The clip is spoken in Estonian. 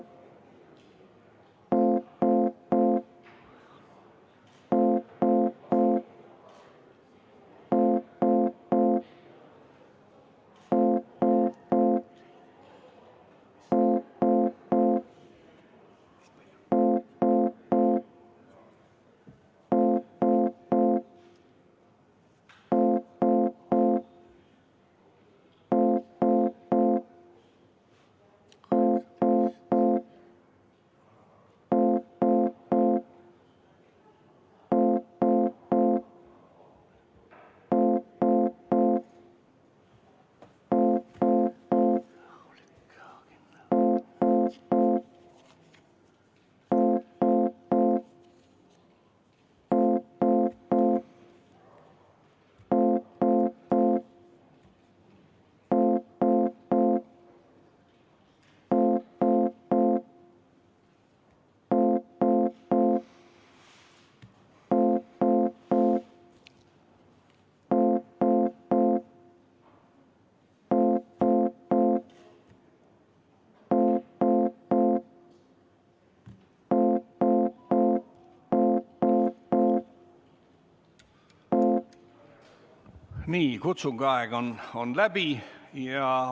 Nii, kutsungi aeg on läbi.